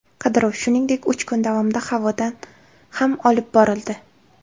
Qidiruv, shuningdek, uch kun davomida havodan ham olib borildi.